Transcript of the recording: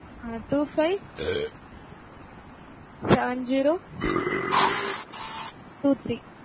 Ah two-five seven-zero two-three.